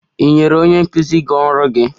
Ì nyefere onye nkụzi gị ọrụ gị?